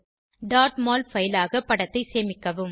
mol file ஆக படத்தை சேமிக்கவும்